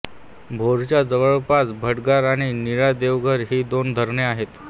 भोरच्या जवळपास भाटघर आणि नीरा देवघर ही दोन धरणे आहेत